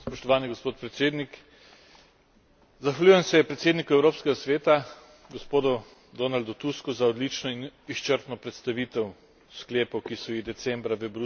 Zahvaljujem se predsedniku Evropskega sveta, gospodu Donaldu Tusku, za odlično in izčrpno predstavitev sklepov, ki so jih decembra v Bruslju sprejeli voditelji držav Evropske unije.